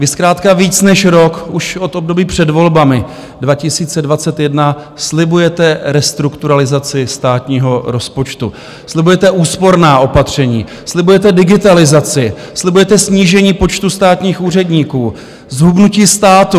Vy zkrátka víc než rok, už od období před volbami 2021, slibujete restrukturalizaci státního rozpočtu, slibujete úsporná opatření, slibujete digitalizaci, slibujete snížení počtu státních úředníků, zhubnutí státu.